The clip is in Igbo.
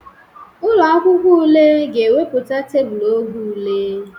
Ụlọ akwụkwọ ule ga-ewepụta tebụl oge ule.